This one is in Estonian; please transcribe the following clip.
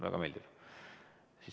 Väga meeldiv.